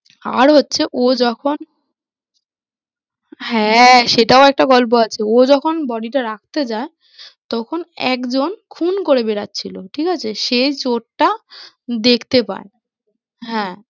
আর হচ্ছে ও যখন হ্যাঁ, সেটাও একটা গল্প আছে ও যখন body টা রাখতে যায় তখন একজন খুন করে বেরোচ্ছিল, ঠিক আছে? সে চোরটা দেখতে পায় হ্যাঁ